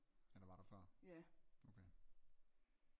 Ja der var der før okay